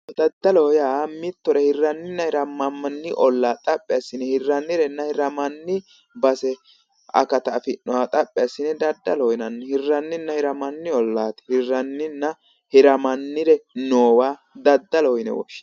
Daddaloho yaa mittore hirranninna hiramanni olla xaphi assine hirrannirenna hirammannire base akata afi'noha xaphi assine daddaloho yinanni hirranninna hirammanni ollaa hirranninna hirammanniri noowa daddaloho yine woshshinanni